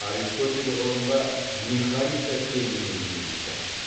аристотель ғылымға механика терминін енгізді